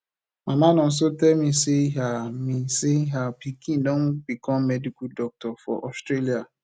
mama nonso tell me say her me say her pikin don become medical doctor for australia